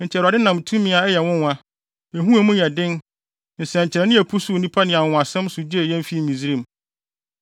Enti Awurade nam tumi a ɛyɛ nwonwa, ehu a emu yɛ den, nsɛnkyerɛnne a epusuw nnipa ne anwonwasɛm so gyee yɛn fii Misraim.